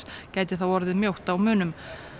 gæti þá orðið mjótt á munum